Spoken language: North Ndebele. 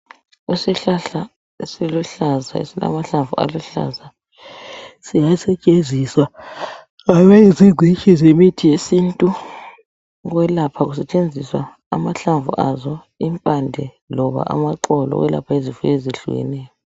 Isihlahla esiluhlaza esilamahlamvu aluhlaza siyasetshenziswa ngabazingcitshi yemithi yesintu ukwelapha kusetshenziswa amahlamvu azo, impande loba amaxolo ukwelapha izifo ezehlukeneyo.